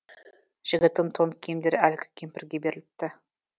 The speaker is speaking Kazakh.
жігіттің тон киімдері әлгі кемпірге беріліпті